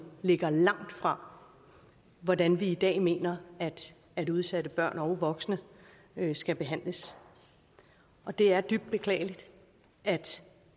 ligger langt fra hvordan vi i dag mener at udsatte børn og voksne skal behandles det er dybt beklageligt at